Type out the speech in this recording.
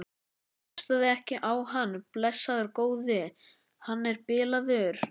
Hlustaðu ekki á hann, blessaður góði. hann er bilaður!